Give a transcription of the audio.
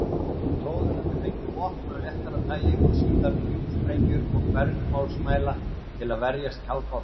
Togararnir fengu vopn af léttara tagi og síðar djúpsprengjur og bergmálsmæla til að verjast kafbátum.